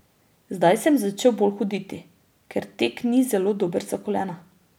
Zdaj sem začel bolj hoditi, ker tek ni zelo dober za kolena.